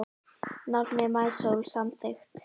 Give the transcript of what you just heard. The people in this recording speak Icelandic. Nafnið Maísól samþykkt